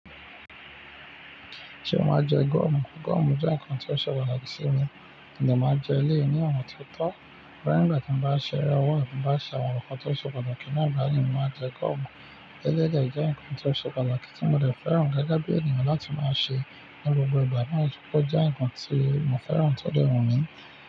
Ṣé o máa ń jẹ gọ̀mù? Gọ̀mù jẹ́ ǹkan tó ṣẹ́ pataki sí mi, mo de máan n jẹ eléyiiní ona ti ó tọ́. Rárá nígbà tí mo bá ṣe ẹre owo àbi n bá se àwọn nkan tó ṣẹ́ patakí naa mo máa jẹ gọ̀mù. Eleyii de jẹ́ ǹkan tó ṣẹ́ patakii tí mo de fẹ́ràn de gẹ́gẹ́ bí ènìyàn láti máa ṣe ní gbogbo ìgbà maa, ó jẹ́ ǹkan tí mo fẹ́ràn tó dẹ wun mi.